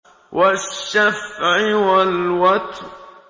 وَالشَّفْعِ وَالْوَتْرِ